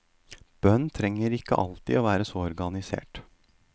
Bønn trenger ikke alltid være så organisert.